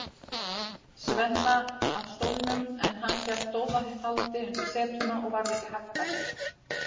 Svenna af stólnum, en hann hélt dauðahaldi undir setuna og varð ekki haggað.